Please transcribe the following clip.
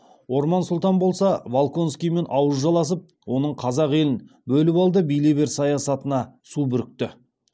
орман сұлтан болса волконскиймен ауыз жаласып оның қазақ елін бөліп алда билей бер саясатына су бүрікті